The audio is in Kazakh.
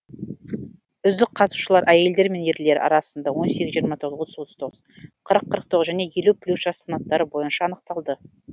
үздік қатысушылар әйелдер мен ерлер арасында он сегіз жиырма тоғыз отыз отыз тоғыз қырық қырық тоғыз және елу плюс жас санаттары бойынша анықталды